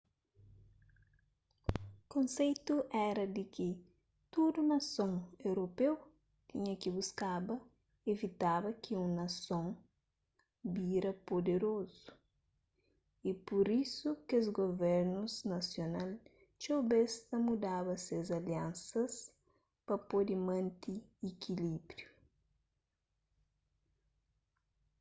konseitu éra di ki tudu nason europeu tinha ki buskaba ivitaba ki un nason bira puderozu y pur isu kes guvernus nasional txeu bês ta mudaba ses aliansas pa pode mante ikilíbriu